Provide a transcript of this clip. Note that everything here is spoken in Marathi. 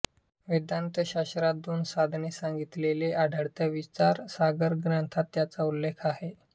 वेदांत शास्त्रात दोन साधने सांगितलेले आढळते विचार सागर ग्रंथात त्याचा उल्लेख आहे